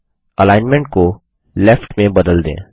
और अलाइनमेंट को लेफ्ट में बदल दें